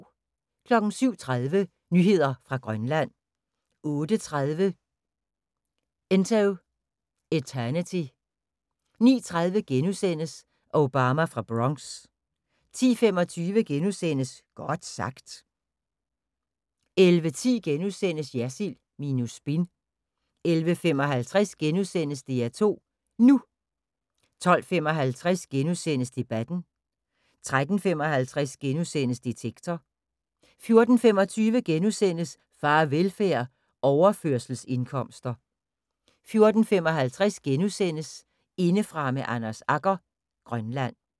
07:30: Nyheder fra Grønland 08:30: Into Eternity 09:30: Obama fra Bronx * 10:25: Godt sagt * 11:10: Jersild minus spin * 11:55: DR2 NU * 12:55: Debatten * 13:55: Detektor * 14:25: Farvelfærd: Overførselsindkomster * 14:55: Indefra med Anders Agger – Grønland *